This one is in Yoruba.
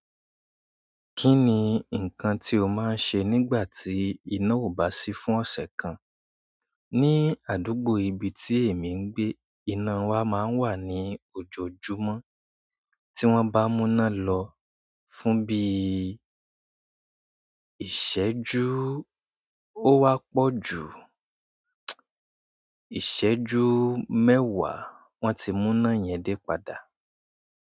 Kí ni nǹkan tí o máa ń ṣe nígbà tí iná ò bá sí fún ọ̀sẹ̀ kan? Ní àdúgbò ibi tí èmi ń gbé, iná wa máa ń wà ní ojoojúmọ́. Tí wọ́n bá mú iná lọ fún bí i ìṣẹ́jú ó wá pọ̀ ju ìṣẹ́jú mẹ́wàá, wọ́n ti mú ná yẹn dé padà.